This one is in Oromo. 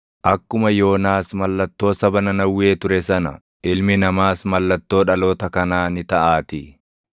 Akkuma Yoonaas mallattoo saba Nanawwee ture sana, Ilmi Namaas mallattoo dhaloota kanaa ni taʼaatii.